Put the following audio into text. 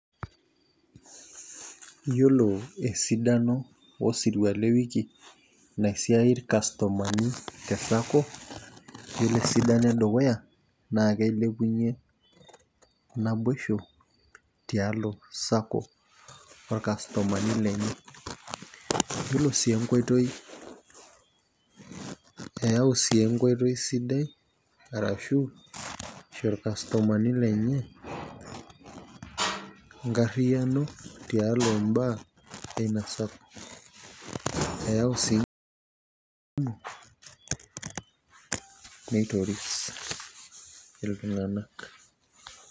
Iyiolo esidaino osirua le wiki naisaidia ilkastomani te sacco ore esidano edukuya. naa kilepunye naboisho tiatua sacco ilkastomani lenye. ore sii enkoitoi, eyau sii enkoitoi sidai, arashu ilkastomani lenye, enkariyiano tialo mbaa, eyau sii nkumok nitoris iltung'anak.